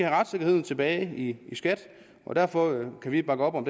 retssikkerheden tilbage i skat og derfor kan vi bakke op om